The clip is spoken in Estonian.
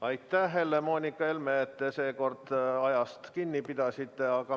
Aitäh, Helle-Moonika Helme, et seekord ajast kinni pidasid!